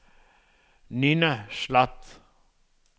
Ninna Sloth